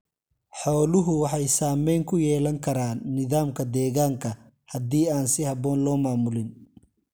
Xooluhu waxay saamayn ku yeelan karaan nidaamka deegaanka haddii aan si habboon loo maamulin.